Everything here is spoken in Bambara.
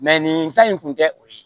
nin ta in kun tɛ o ye